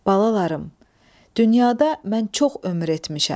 Balalarım, dünyada mən çox ömür etmişəm.